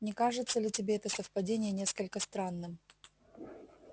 не кажется ли тебе это совпадение несколько странным